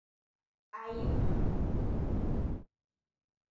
Aip.